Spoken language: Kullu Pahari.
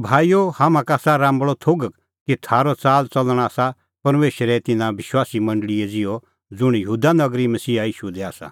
भाईओ हाम्हां का आसा राम्बल़अ थोघ कि थारअ च़ालच़लण आसा परमेशरे तिन्नां विश्वासीए मंडल़ी ज़िहअ ज़ुंण यहूदा नगरी मसीहा ईशू दी आसा